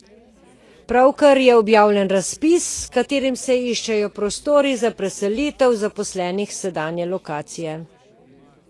Pravkar je objavljen razpis, s katerim se iščejo prostori za preselitev zaposlenih s sedanje lokacije.